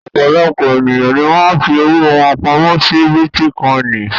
Ọ̀pọ̀lọpọ̀ ènìyàn ni wọ́n fi owó wọn pamọ́ si bítíkọ́ìnì